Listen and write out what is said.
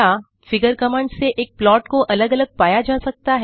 figure command से एक plot को अलग अलग पाया जा सकता है